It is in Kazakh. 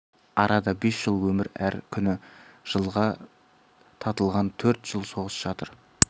арада бес жыл өмір әр күні жылға татыған төрт жыл соғыс жатыр